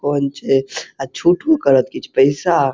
कौन छे अ छूट उ करत कुछ पैसा --